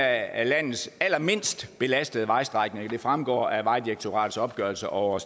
af landets allermindst belastede vejstrækninger det fremgår af vejdirektoratets opgørelse over